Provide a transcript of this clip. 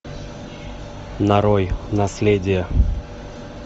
нарой наследие